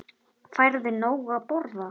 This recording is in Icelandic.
Færðu nóg að borða?